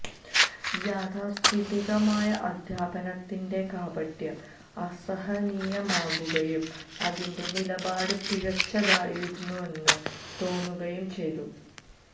യാഥാസ്ഥിതികമായ അധ്യാപനത്തിന്റെ കാപട്യം അസഹനീയമാകുകയും അതിന്റെ നിലപാട് പിഴച്ചതായിരുന്നെന്ന് തോന്നുകയും ചെയ്തു